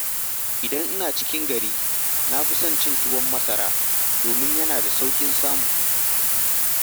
Idan ina cikin gari, na fi son cin tuwon masara domin yana da sauƙin samu.